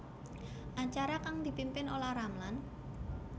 Acara kang dipimpin Olla Ramlan